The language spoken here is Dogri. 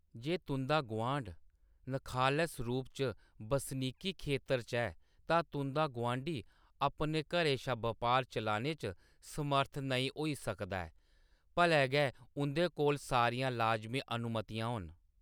जे तुंʼदा गुआंढ नखालस रूप च बसनीकी खेतर च ऐ, तां तुंʼदा गुआंढी अपने घरै शा बपार चलाने च समर्थ नेईं होई सकदा ऐ, भले गै उंʼदे कोल सारियां लाजमी अनुमतियां होन।